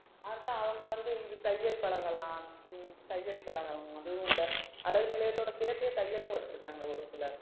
அதான் அவங்க வந்து இது தையல் பழகலாம் தையல் பழகணும் அதுவும் இந்த அழகு நிலையத்தோட சேர்த்தே தையலும் வச்சிருக்காங்க ஒரு சிலர் ஆமா